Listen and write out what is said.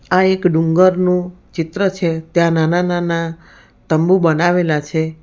આ એક ડુંગરનું ચિત્ર છે ત્યાં નાના નાના તંબુ બનાવેલા છે.